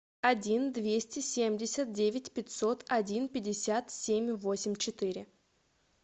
один двести семьдесят девять пятьсот один пятьдесят семь восемь четыре